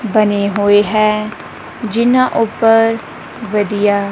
ਬਣੇ ਹੋਏ ਹੈ ਜਿੰਨਾਂ ਉੱਪਰ ਵਧੀਆ--